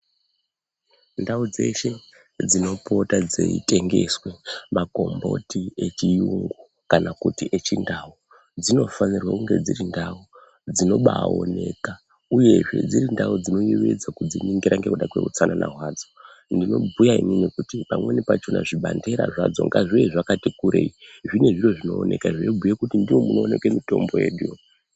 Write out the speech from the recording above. Ndau dzeshe dzinopota dzeitengeswe makomboti echiyungu kana kuti echindau dzinofanira kunge dziri ndau dzinobaoneka uye dziri ndau dzinoyevedza kudziningira nekuda kweutsanana wadzo ndinobhuya ini kuti pamweni pachona zvibandera ngazviuye zvakati kurei zvine zviro zvinooneka zvinobhuya kuti ndimo munooneka mitombo yedu.